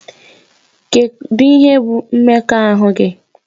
Kedu ihe bụ mmekọahụ gị?